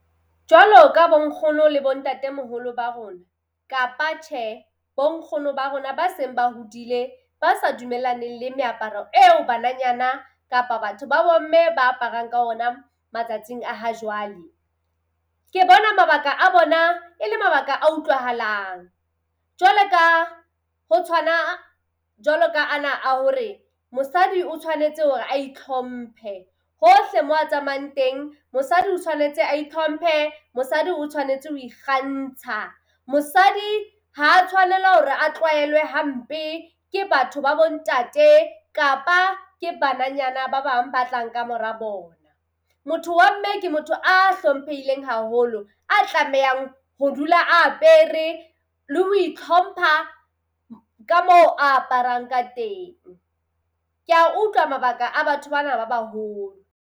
Jwalo ka bo nkgono le bo ntatemoholo ba rona kapa tjhe, bo nkgono ba rona ba seng ba hodile ba sa dumellaneng le meaparo eo bananyana kapa batho ba bomme ba aparang ka ona matsatsing a hajwale. Ke bona mabaka a bona e le mabaka a utlwahalang. Jwale ka ho tshwana, jwalo ka ana a hore mosadi o tshwanetse hore a itlhomphe hohle moo a tsamayang teng. Mosadi o tshwanetse a itlhomphe, mosadi o tshwanetse ho ikgantsha. Mosadi ha tshwanelwa ke hore a tlwaelwe hampe ke batho ba bo ntate kapa ke bananyana ba bang ba tlang kamora bona. Motho wa mme ke motho a hlomphehileng haholo, a tlamehang ho dula a apere le ho itlhompha ka moo aparang ka teng. Kea utlwa mabaka a batho bana ba baholo.